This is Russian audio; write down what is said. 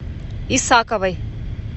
исаковой